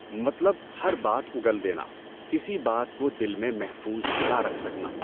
مطلب ہر بات اُگل دینا، کسی بات کو دل میں محفوظ نہ رکھ سکنا۔